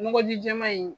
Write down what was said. Nɔgɔ ji jɛman in